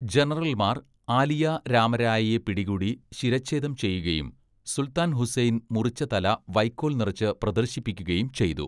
ജനറൽമാർ ആലിയ രാമ രായയെ പിടികൂടി ശിരച്ഛേദം ചെയ്യുകയും, സുൽത്താൻ ഹുസൈൻ മുറിച്ച തല വൈക്കോൽ നിറച്ച് പ്രദർശിപ്പിക്കുകയും ചെയ്തു.